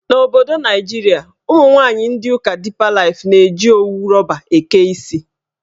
N'obodo Naijiria, ụmụnwaanyị ndị ụka Dipa Laif na-eji owu rọba eke isi.